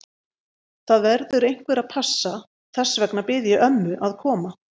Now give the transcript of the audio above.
Það verður einhver að passa, þess vegna bað ég ömmu að koma.